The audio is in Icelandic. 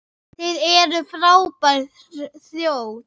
Þið eruð frábær þjóð!